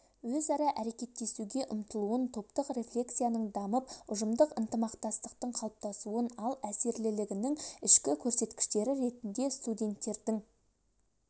өзара әрекеттесуге ұмтылуын топтық рефлексияның дамып ұжымдық ынтымақтастықтың қалыптасуын ал әсерлілігінің ішкі көрсеткіштері ретінде студенттердің